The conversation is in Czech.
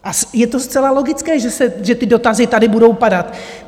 A je to zcela logické, že ty dotazy tady budou padat.